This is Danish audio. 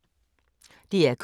DR K